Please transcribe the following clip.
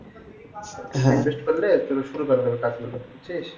হ্যাঁ invest করলে তো শুরু করা যাবে কাজগুলো বুঝছিস?